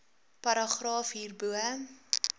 paragraaf hierbo